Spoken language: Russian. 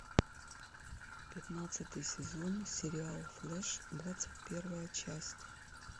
пятнадцатый сезон сериал флэш двадцать первая часть